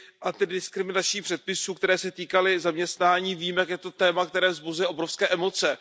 antidiskriminačních předpisů, které se týkaly zaměstnání, vím, že je to téma, které vzbuzuje obrovské emoce.